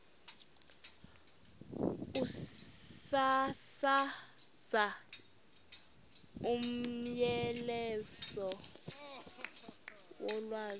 ukusasaza umyalezo wolwazi